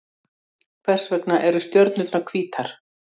Hvers vegna eru stjörnurnar hvítar?